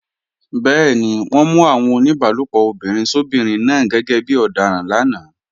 Bẹ́ẹ̀ni, wọ́n mú àwọn oníbálòpọ̀ obìnrin sóbinrin náà gẹ́gẹ́ bí ọ̀daràn lánàá